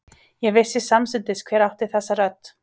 Ég vissi samstundis hver átti þessa rödd.